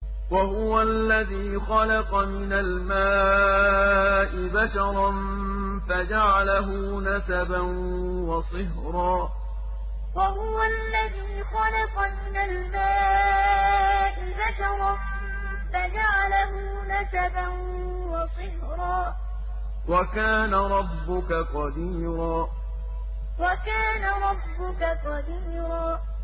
وَهُوَ الَّذِي خَلَقَ مِنَ الْمَاءِ بَشَرًا فَجَعَلَهُ نَسَبًا وَصِهْرًا ۗ وَكَانَ رَبُّكَ قَدِيرًا وَهُوَ الَّذِي خَلَقَ مِنَ الْمَاءِ بَشَرًا فَجَعَلَهُ نَسَبًا وَصِهْرًا ۗ وَكَانَ رَبُّكَ قَدِيرًا